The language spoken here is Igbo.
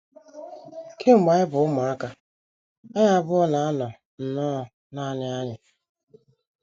“ Kemgbe anyị bụ ụmụaka, anyị abụọ na - anọ nnọọ nanị anyị.